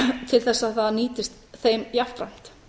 til þess að það nýtist þeim jafnframt